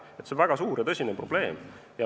See on väga suur ja tõsine probleem.